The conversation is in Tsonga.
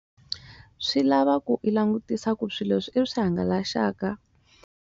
Swi lava ku i langutisa ku swi leswi i swi hangalaxaka.